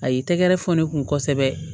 A y'i tɛgɛ fɔ ne kun kosɛbɛ